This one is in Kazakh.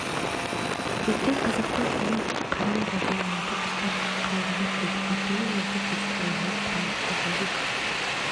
кеткен қазақтың күні қараң болған малды ұстап қалыңдар деді әкенің осы сөзі ұлына құран сөзіндей